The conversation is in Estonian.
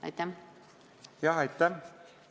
Aitäh!